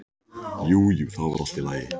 Jú, jú, það var allt í lagi.